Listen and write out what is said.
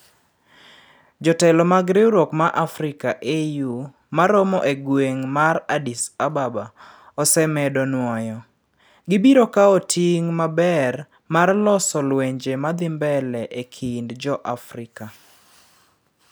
jotelo mag riwruok mar Africa (AU) ma romo e gweng' mar Addis Ababa ose medo nwoyo gibiro kao ting maber mar loso lwenje ma dhi mbele e kind jo-Afrika